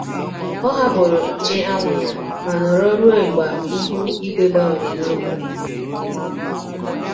Ọ hapụrụ nche anwụ ya ma nọrọ ruo mgba ihu igwe gbanwere n' abalị.